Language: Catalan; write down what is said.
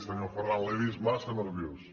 senyor ferran l’he vist massa nerviós